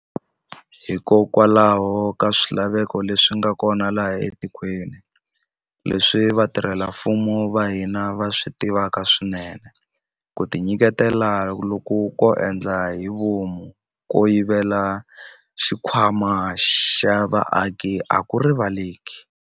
Hikokwalaho ka swilaveko leswi nga kona laha etikweni, leswi vatirhela mfumo va hina va swi tivaka swinene, ku tinyiketela loku ko endla hi vomu ko yivela xikhwama xa vaaki a ku rivaleleki.